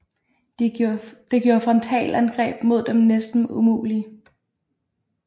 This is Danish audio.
Det gjorde frontalangreb mod dem næsten umulige